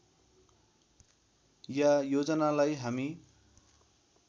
या योजनालाई हामी